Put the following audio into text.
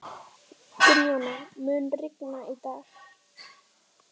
Gunnjóna, mun rigna í dag?